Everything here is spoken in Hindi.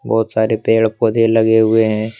बहुत सारे पेड़ पौधे लगे हुए हैं।